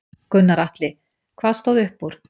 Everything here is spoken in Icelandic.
Gunnar Atli: Hvað stóð upp úr?